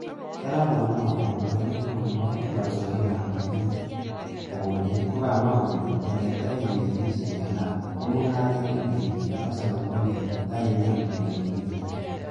Solomon wao, kandoindet neo nebo loisosiekab mosiget kobun beek, kokomwa kole eleteben melisiek en Lamu, ko mungaret ne leel nekose kompunit tainamen boisionikyik.